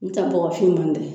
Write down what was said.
N tɛ nbɔgɔ finman tɛ.